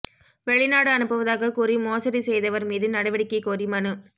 வெளிநாடு அனுப்புவதாகக் கூறி மோசடி செய்தவா் மீது நடவடிக்கை கோரி மனு